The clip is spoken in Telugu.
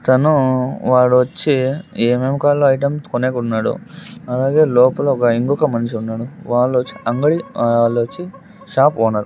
తను వాడు వచ్చి ఏం ఏం కావాలో ఐటమ్స్ కొనేకొన్నాడు అలాగే లోపల ఒక ఇంకొక మనిషి ఉన్నాడు వాళ్ళు వచ్చి అంగడి వాళ్ళు వచ్చి షాప్ ఓనార్ .